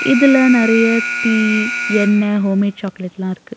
இதுல நறைய டி எண்ண ஹோம் மேட் சாக்லேட்லா இருக்கு.